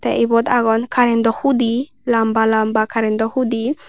te obot agon currento hudi lamba lamba currento hudi.